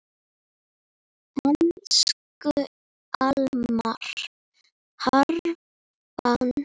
Elsku Almar Hrafn.